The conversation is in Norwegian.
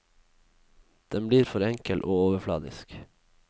Den blir for enkel og overfladisk.